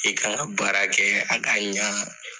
I kan ka baara kɛ a ka ɲaa